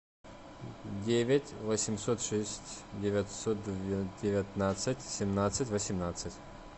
девять восемьсот шесть девятьсот девятнадцать семнадцать восемнадцать